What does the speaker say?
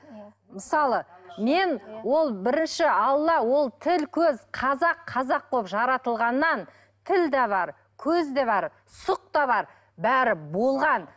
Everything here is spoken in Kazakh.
мысалы мен ол бірінші алла ол тіл көз қазақ қазақ болып жаратылғаннан тіл де бар көз де бар сұқ та бар бәрі болған